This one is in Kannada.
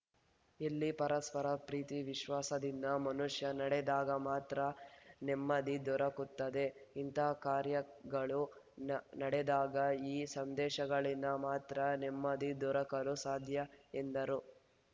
ಇಲ್ಲಿ ಪರಸ್ಪರ ಪ್ರೀತಿ ವಿಶ್ವಾಸದಿಂದ ಮನುಷ್ಯ ನಡೆದಾಗ ಮಾತ್ರ ನೆಮ್ಮದಿ ದೊರಕುತ್ತದೆ ಇಂತಹ ಕಾರ್ಯಗಳು ನ್ ನಡೆದಾಗ ಈ ಸಂದೇಶಗಳಿಂದ ಮಾತ್ರ ನೆಮ್ಮದಿ ದೊರಕಲು ಸಾಧ್ಯ ಎಂದರು